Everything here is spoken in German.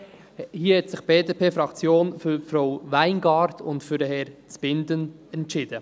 Hier hat sich die BDP-Fraktion für Frau Weingart und Herrn Zbinden entschieden.